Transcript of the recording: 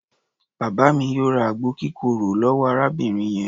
Bàbá mi yóò ra àgbo kírokò lọ́wọ́ arábìnrin yẹn.